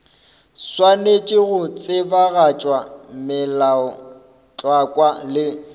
swanetše go tsebagatša melaotlhakwa le